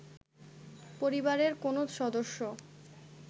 পরিবারের কোনো সদস্য